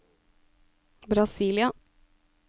Brasília